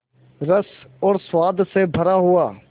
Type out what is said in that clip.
रस और स्वाद से भरा हुआ